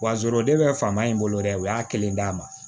Wa zoro de bɛ faama in bolo dɛ u y'a kelen d'a ma